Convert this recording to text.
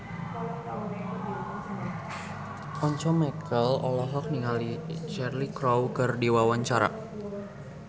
Once Mekel olohok ningali Cheryl Crow keur diwawancara